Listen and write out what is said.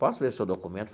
Posso ver seu documento?